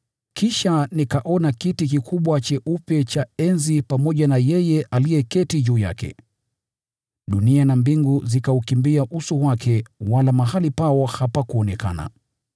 Kisha nikaona kiti kikubwa cheupe cha enzi pamoja na yeye aliyeketi juu yake. Dunia na mbingu zikaukimbia uso wake wala mahali pao hapakuonekana.